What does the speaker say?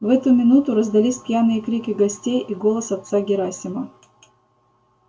в эту минуту раздались пьяные крики гостей и голос отца герасима